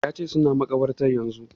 Ya ce suna makabartar yanzu